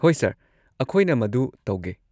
ꯍꯣꯏ ꯁꯔ, ꯑꯈꯣꯢꯅ ꯃꯗꯨ ꯇꯧꯒꯦ꯫